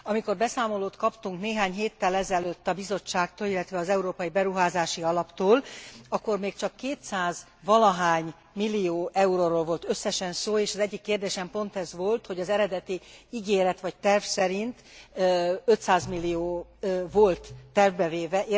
Amikor beszámolót kaptunk néhány héttel ezelőtt a Bizottságtól, illetve az Európai Beruházási Alaptól, akkor még csak kétszázvalahány millió euróról volt összesen szó, és az egyik kérdésem pont ez volt, hogy az eredeti ígéret vagy terv szerint 500 millió volt tervbe véve.